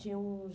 Tinha uns